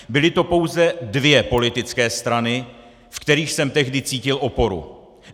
Byly to pouze dvě politické strany, ve kterých jsem tehdy cítil oporu.